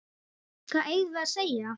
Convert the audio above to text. Hvað eigum við að segja?